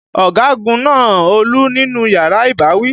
Ọ̀gagun na Olú nínú yàrá ìbáwí.